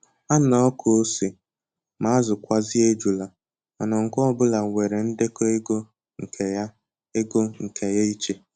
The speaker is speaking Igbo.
Ha n'akọ ose, ma azụkwazị ejula, mana nke ọ bụla nwere ndekọ ego nke ya ego nke ya ịche